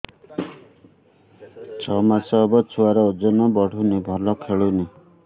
ଛଅ ମାସ ହବ ଛୁଆର ଓଜନ ବଢୁନି ଭଲ ଖେଳୁନି